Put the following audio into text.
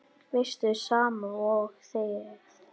Veistu, sama og þegið.